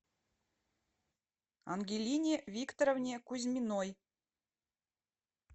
ангелине викторовне кузьминой